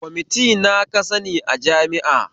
Kwamiti na ka sani a jami'a?